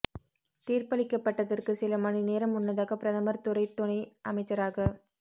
தீர்ப்பளிக்கப்பட்டதற்குச் சில மணி நேரம் முன்னதாக பிரதமர் துறை துணை அமைச்சராக